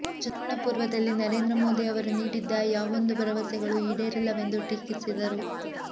ಚುನಾವಣಾ ಪೂರ್ವದಲ್ಲಿ ನರೇಂದ್ರ ಮೋದಿ ಅವರು ನೀಡಿದ್ದ ಯಾವೊಂದು ಭರವಸೆಗಳು ಈಡೇರಿಲ್ಲವೆಂದು ಟೀಕಿಸಿದರು